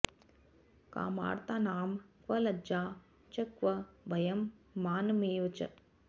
कामार्तानां क्व लज्जा च क्व भयं मानमेव च